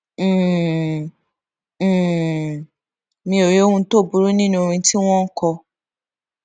um um mi ò rí ohun tó burú nínú orin tí wón ń kọ